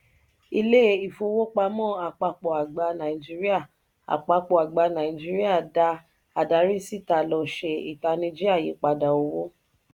ilé ifowopamọ àpapọ (àgbà) nàìjíríà àpapọ (àgbà) nàìjíríà da adari síta lọ ṣe itaniji ayípadà owó.